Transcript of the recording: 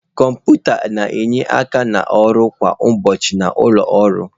Kọmputa na-enye aka n'ọrụ kwa ụbọchị na ụlọ ọrụ.